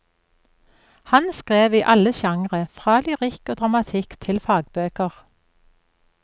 Han skrev i alle sjangre, fra lyrikk og dramatikk til fagbøker.